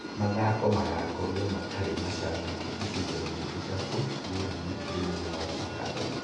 Mathako magakorwo matarĩ macambĩki ĩcigo-inĩ ithatũ ngũrani thĩĩnĩ wa kĩharoinĩ.